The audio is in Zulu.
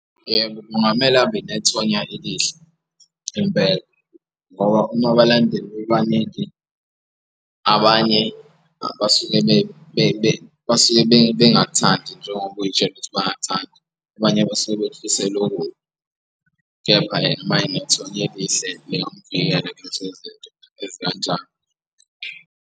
Yebo, kungamele abe nethonya elihle impela ngoba uma abalandeli bebaningi abanye abasuke basuke bengingathandi njengoba uy'tshele ukuthi bayathanda, abanye basuke bekufisela okubi. Kepha yena ama enethonya elihle lingamuvikela kulezo zinto ezikanjalo.